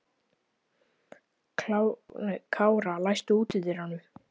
Kára, læstu útidyrunum.